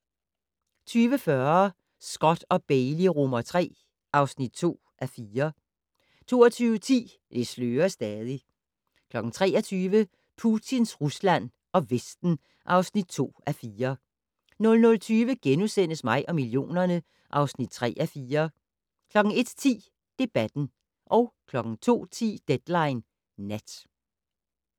20:40: Scott & Bailey III (2:4) 22:10: Det slører stadig 23:00: Putins Rusland og Vesten (2:4) 00:20: Mig og millionerne (3:4)* 01:10: Debatten 02:10: Deadline Nat